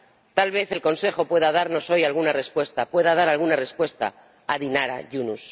Tal vez el Consejo pueda darnos hoy alguna respuesta, pueda dar alguna respuesta a Dinara Yunus.